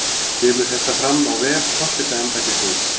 Kemur þetta fram á vef forsetaembættisins